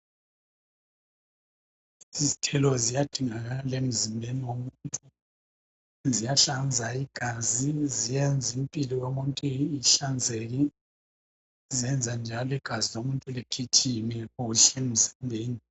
Izithelo ziyadingakala emzimbeni womuntu ziyahlanza igazi ziyenza impilo yomuntu ihlanzeke ziyenza njalo igazi lomuntu ligijime kuhle emzimbeni.